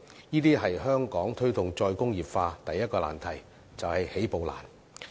這是香港推動"再工業化"的第一個難題，也就是起步難。